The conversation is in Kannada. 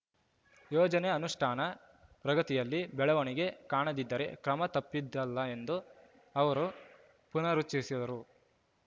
ಯೋಜನೆ ಅನುಷ್ಟಾನ ಪ್ರಗತಿಯಲ್ಲಿ ಬೆಳವಣಿಗೆ ಕಾಣದಿದ್ದರೆ ಕ್ರಮ ತಪ್ಪಿದ್ದಲ್ಲ ಎಂದು ಅವರು ಪುನರುಚ್ಛರಿಸಿದರು